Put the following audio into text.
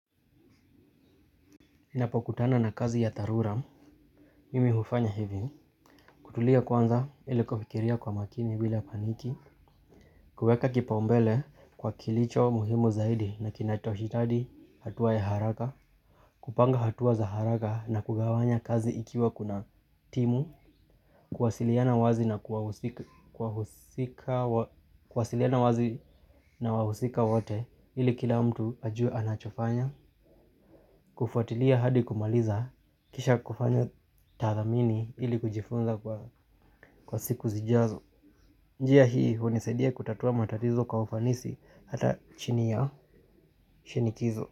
Ninapokutana na kazi ya dharura, mimi hufanya hivi, kutulia kwanza ili kufikiria kwa makini bila paniki, kuweka kipaumbele kwa kilicho muhimu zaidi na kinachohitaji hatua ya haraka, kupanga hatua za haraka na kugawanya kazi ikiwa kuna timu, kuwasiliana kuwasiliana wazi na wahusika wote ili kila mtu ajue anachofanya, kufuatilia hadi kumaliza. Kisha kufanya tathmini ili kujifunza kwa siku zijazo. Njia hii hunisadia kutatua matatizo kwa ufanisi hata chini ya shinikizo.